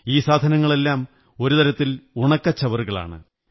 ഈ സാധനങ്ങളെല്ലാം ഒരു തരത്തിൽ ഉണക്കച്ചവറുകളാണ്